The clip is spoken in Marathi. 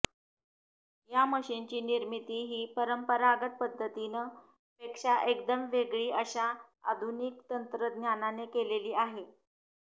या मशिनची निर्मिती ही परंपरागत पद्धतीन पेक्षा एकदम वेगळी अशा आधुनिक तंत्रज्ञानाने केलेली आहे